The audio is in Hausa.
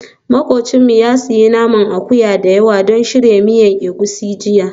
Makwabcinmu ya sayi naman akuya da yawa don shirya miya egusi jiya